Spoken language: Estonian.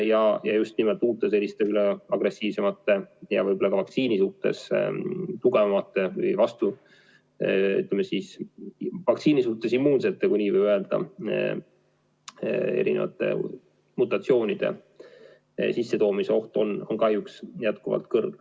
Ja just nimelt uute agressiivsemate ja võib-olla ka vaktsiini suhtes immuunsemate, kui nii võib öelda, mutatsioonide sissetoomise oht on kahjuks jätkuvalt kõrge.